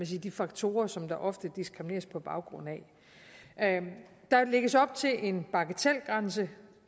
de faktorer som der oftest diskrimineres på baggrund af der lægges op til en bagatelgrænse